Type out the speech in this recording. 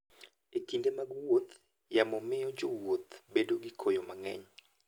E kinde mag wuoth, yamo miyo jowuoth bedo gi koyo mang'eny.